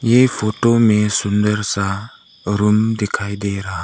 ये फोटो में सुंदर सा रूम दिखाई दे रहा--